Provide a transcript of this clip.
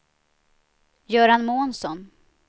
Göran Månsson